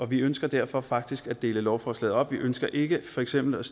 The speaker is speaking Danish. vi ønsker derfor faktisk at dele lovforslaget op vi ønsker ikke for eksempel